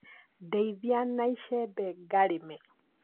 Ndeithia na icembe ngarĩme